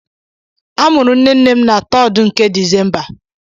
A mụrụ nne nne m na 3RD nke Disemba.